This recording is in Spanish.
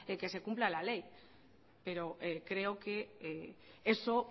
que se cumpla la ley pero creo que eso